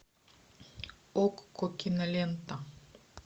окко кинолента